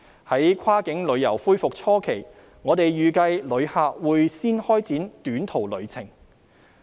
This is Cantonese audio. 在跨境旅遊恢復初期，我們預計旅客會先開展短途旅程。